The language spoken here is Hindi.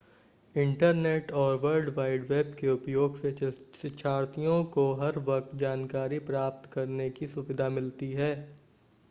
इंटरनेट और वर्ल्ड वाइड वेब के उपयोग से शिक्षार्थियों को हर वक्त जानकारी प्राप्त करने की सुविधा मिलती है